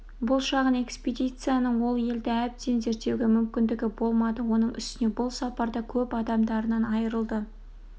бұл шағын экспедицияның ол елді әбден зерттеуге мүмкіндігі болмады оның үстіне бұл сапарда көп адамдарынан айрылды